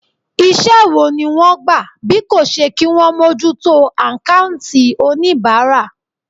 Iṣẹ́ wo ni wọ́n gbà bí kò ṣe kí wọn mójútó àkáùntì oníbàárà.